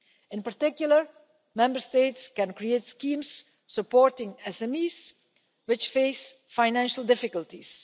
In particular, Member States can create schemes supporting SMEs which face financial difficulties.